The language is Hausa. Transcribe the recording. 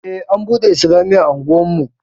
Ej an buɗe islamiyya a unguwarmu